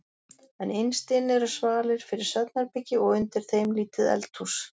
En innst inni eru svalir fyrir svefnherbergi og undir þeim lítið eldhús.